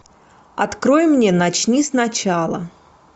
открой мне начни сначала